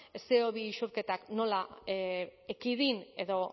ce o bi isurketak nola ekidin edo